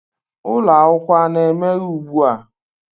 Ụlọ akwụkwọ a na-emeghe ugbu a?